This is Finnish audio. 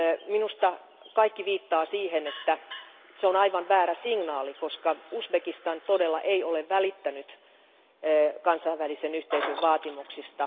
Minusta kaikki viittaa siihen, että se on aivan väärä signaali, koska Uzbekistan ei todellakaan ole välittänyt kansainvälisen yhteisön vaatimuksista.